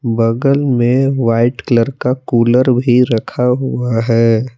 बगल में white colour का कूलर भी रखा हुआ है।